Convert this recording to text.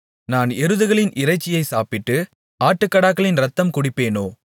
நான் எருதுகளின் இறைச்சியை சாப்பிட்டு ஆட்டுக்கடாக்களின் இரத்தம் குடிப்பேனோ